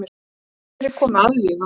Enn fleiri komu aðvífandi.